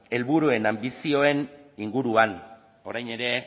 helburuena anbizioen inguruan orain ere